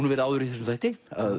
verið áður í þessum þætti að